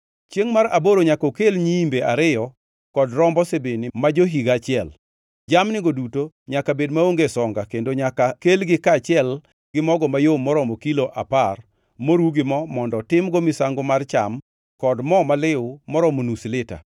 “Chiengʼ mar aboro nyaka okel nyiimbe ariyo kod rombo sibini ma jo-higa achiel. Jamnigo duto nyaka bed maonge songa kendo nyaka kelgi kaachiel gi mogo mayom moromo kilo apar moru gi mo mondo timgo misango mar cham kod mo maliw moromo nus lita.